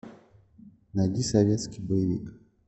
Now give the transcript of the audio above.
найди советский боевик